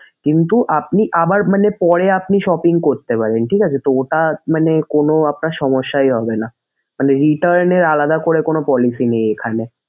কিন্তু আপনি আবার মানে পরে আপনি shopping করতে পারবেন ঠিক আছে তো তা মানে কোনো আপনার সমস্যাই হবেনা। তবে return এ আলাদা করে কোনো policy নেই এইখানে।